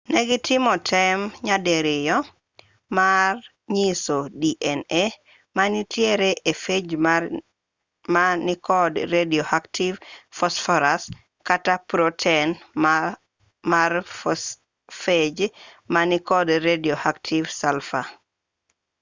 negitimo tem nyadiriyo mar nyiso dna manitie e phage ma nikod radioactive phosphorus kata proten mar phage ma nikod radioactive sulfur